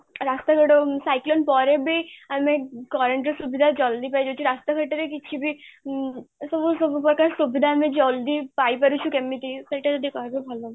ରାସ୍ତା ଘାଟ cyclone ପରେବି ଆମେ current ର ସୁବିଧା ଜଲ୍ଦି ପାଇ ଯାଉଛୁ ରାସ୍ତା ଘାଟରେ କିଛିବି ଅମ୍ ସବୁ ସବୁ ପ୍ରକାର ସୁବିଧା ଆମେ ଜଲ୍ଦି ପାଇ ପଢ଼ୁଛୁ ଏକମିତି, ସେଟା ଯଦି କହିବେ ଭଲ ହବ